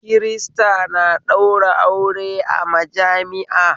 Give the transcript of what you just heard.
Kirista na ɗaura aure a majami'a